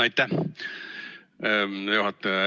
Aitäh, juhataja!